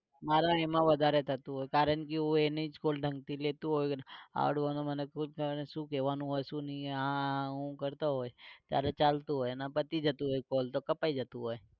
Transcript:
મારે એમાં વધારે થતું હોય કારણ કે હું એની જ શું કેવાનું હોય શું નઇ એ આ હું કરતો હોય ત્યારે ચાલતું હોય ને પતી જતું હોય call તો કપાય જતું હોય